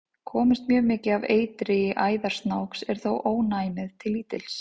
Komist mjög mikið af eitri í æðar snáks er þó ónæmið til lítils.